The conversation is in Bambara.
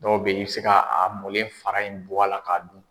Dɔw bɛ ye i bɛ se ka a mɔlen fara in bɔ a la k'a dun.